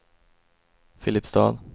Filipstad